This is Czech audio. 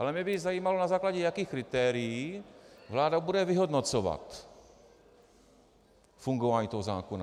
Ale mě by zajímalo, na základě jakých kritérií vláda bude vyhodnocovat fungování toho zákona.